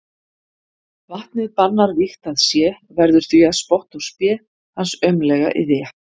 Vatnið bannar vígt að sé, verður því að spotti og spé hans aumleg iðja.